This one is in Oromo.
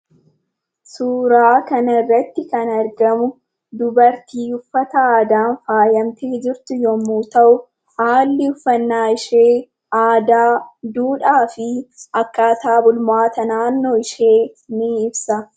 Suuraa kana irratti kan argamu, dubartii uffata aadaa faayyamtee jirtu yemmuu ta'u, haalli uffannaa ishee aadaa, duudhaa fi akkaataa bulmaata naannoo ishee ni ibsa.